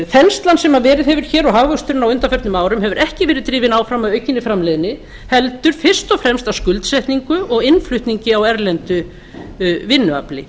þenslan sem verið hefur hér og hagvöxturinn á undanförnum árum hefur ekki verið drifinn áfram af aukinni framleiðni heldur fyrst og fremst af skuldsetningu og innflutningi á erlendu vinnuafli